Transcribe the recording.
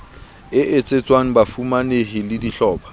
e etsetswang bafumanehi le dihlopha